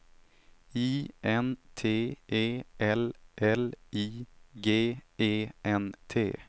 I N T E L L I G E N T